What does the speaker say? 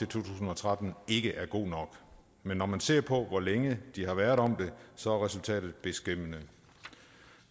tusind og tretten ikke er god nok men når man ser på hvor længe de har været om det så er resultatet beskæmmende